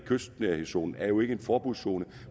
kystnærhedszonen er jo ikke en forbudszone